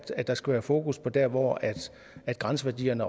der skal være fokus på der hvor grænseværdierne